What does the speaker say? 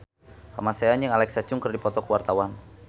Kamasean jeung Alexa Chung keur dipoto ku wartawan